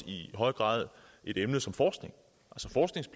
i høj grad et emne som forskning